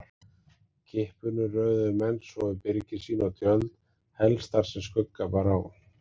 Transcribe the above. Kippunum röðuðu menn svo við byrgi sín og tjöld, helst þar sem skugga bar á.